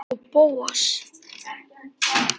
Og Bóas.